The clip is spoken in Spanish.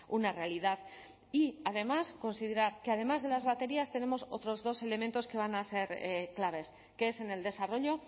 una realidad y además considerar que además de las baterías tenemos otros dos elementos que van a ser claves que es en el desarrollo